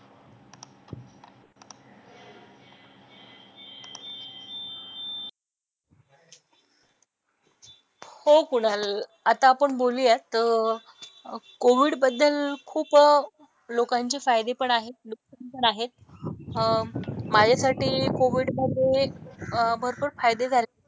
हो कुणाल आता आपण बोलूयात. कोविडबद्दल खूप लोकांचे फायदे पण आहेत, नुकसान पण आहेत. माझ्यासाठी कोविडमध्ये अह भरपूर फायदे झाले.